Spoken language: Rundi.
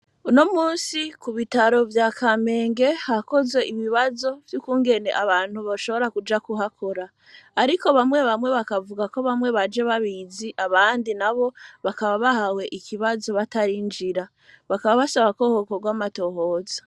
Uno musi ku bitaro vya kamenge hakoze ibibazo vy'ukungene abantu bashobora kuja kuhakora, ariko bamwe bamwe bakavuga ko bamwe baje babizi abandi na bo bakaba bahawe ikibazo batarinjira bakaba basaba kohokkorw'amatohoza.